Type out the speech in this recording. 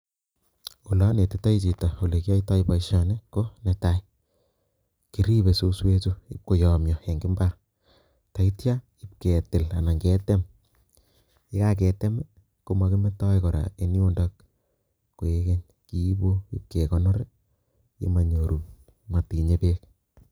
Olo netitoi chito ole kiyaitoi boisioni ko netai, kiripe suswechu ipkoyomia eng imbaar teityo ipketil anan ketem, ye kaketem makimetoi kora eng yundo koek keny, kiipu ipkekonor nemanyoru, nematinyei beek.